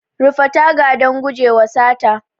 Rufe taga don gujewa sata.